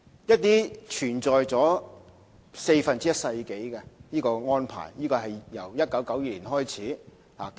有關安排存在了四分之一個世紀，是由1992年開始。